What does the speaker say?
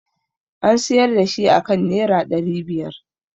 An siyar da shi aka nera ɗari biyar